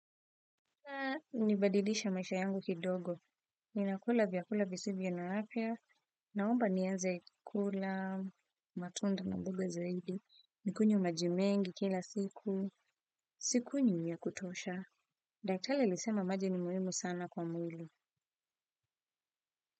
Nibadilishe maisha yangu kidogo. Ninakula vyakula visivyo na afya. Naomba nianze kula matunda mboga zaidi. Nikunywe maji mengi kila siku. Sikunywi ya kutosha. Daktari alisema maji ni muhimu sana kwa mwili.